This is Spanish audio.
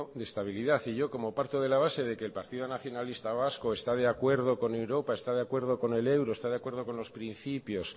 de estabilidad y yo como parto de la base de que el partido nacionalista vasco está de acuerdo con europa está de acuerdo con el euro está de acuerdo con los principios